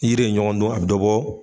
Yiri ye ɲɔgɔn don a be dɔ bɔ